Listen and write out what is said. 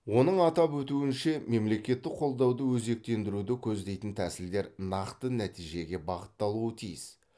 оның атап өтуінше мемлекеттік қолдауды өзектендіруді көздейтін тәсілдер нақты нәтижеге бағытталуы тиіс